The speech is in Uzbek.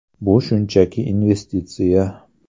Bu shunchaki investitsiya.